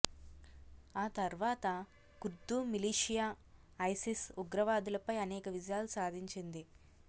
ఆ తర్వాత Kurd militia ISIS ఉగ్రవాదులపై అనేక విజయాలు సాధించింది